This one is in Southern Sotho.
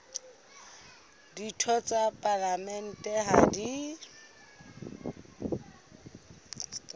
ditho tsa palamente ha di